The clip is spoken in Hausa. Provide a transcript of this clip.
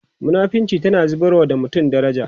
munafinci tana zubarwa da mutum daraja